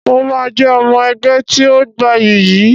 Mo máa jẹ́ ọmọ ẹgbẹ́ tí ó gbayì yìí